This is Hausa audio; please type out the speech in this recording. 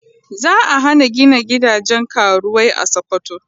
Za a hana gina gidajen karuwai a Sokoto.